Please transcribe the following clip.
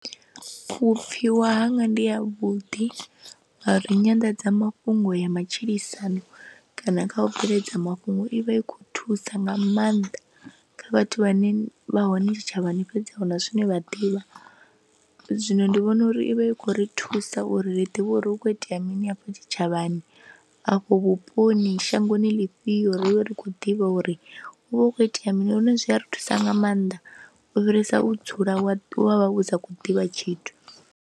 Vhupfhiwa hanga ndi havhuḓi ngauri nyanḓadzamafhungo ya matshilisano kana kha u bveledza mafhungo i vha i khou thusa nga maanḓa kha vhathu vhane vha hone tshitshavhani fhedza huna zwine vha ḓivha zwino ndi vhona uri i vha i khou ri thusa uri ri ḓivhe uri hu khou itea mini afho tshitshavhani, afho vhuponi shangoni ḽifhio, ri vhe ri khou ḓivha uri hu vha hu khou itea mini lune zwi a ri thusa nga maanḓa u fhirisa u dzula wa wa vha u sa khou ḓivha tshithu.